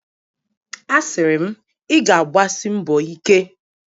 A siri m, ị ga-agbasi mbọ ike!